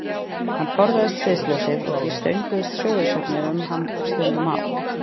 Hann forðaðist sviðsljósið og því stönguðust sögusagnir um hann stundum á.